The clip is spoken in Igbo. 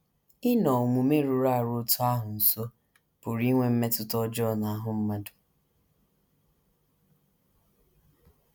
Ịnọ omume rụrụ arụ otú ahụ nso pụrụ inwe mmetụta ọjọọ n’ahụ́ mmadụ.